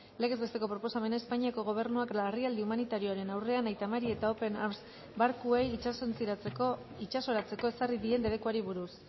legez besteko proposamena espainiako gobernuak larrialdi humanitarioaren aurrean aita mari eta open arms barkuei itsasoratzeko ezarri dien debekuari buruz